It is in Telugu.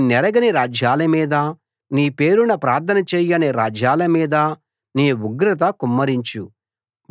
నిన్నెరగని రాజ్యాల మీద నీ పేరున ప్రార్థన చేయని రాజ్యాల మీద నీ ఉగ్రత కుమ్మరించు